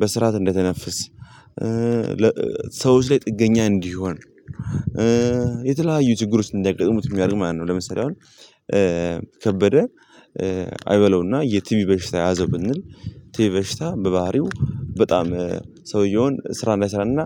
በስርዓት እንዳይተነፍስ። ሰዎች ላይ ጥገኛ እንዲሆን። የተለያዩ ችግር ውስጥ እንዲያጋጥሙት የሚያደርግ ማለት ነው። ለምሳሌ አሁን ከበደ አይበለውና የቲቪ በሽታ የያዘ ብንል። ቲቪ በሽታ በባህሪው በጣም ሰውየውን ስራ እንዳይሰራና።